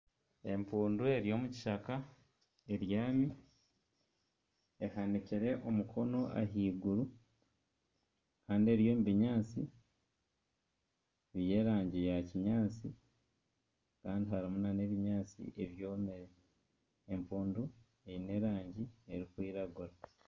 Empundu eri omu kishaka ebyami ehanikire omukono ahaiguru Kandi eri omu binyaatsi by'erangi ya kinyaatsi kandi harimu nana ebinyaatsi byomire empundu eine erangi erikwiragura